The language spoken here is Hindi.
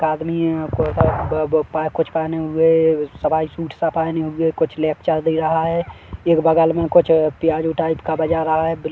एक आदमी है यहाँ पर अ ब ब कुछ पहने हुए सफारी सूट -सा पहने हुए कुछ लेक्चर दे रहा है एक बगल में कुछ प्याजों टाइप का बजा रहा है।